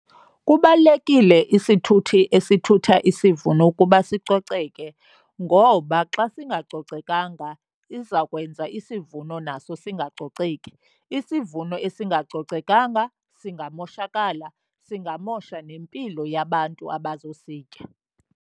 Kubalulekile isithuthi esithutha isivuno ukuba sicoceke ngoba xa singacocekanga izakwenza isivuno naso singacoceki. Isivuno esingacocekanga singamashokala, singamosha nempilo yabantu abazositya.